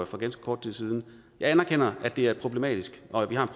for ganske kort tid siden jeg anerkender at det er problematisk og at vi har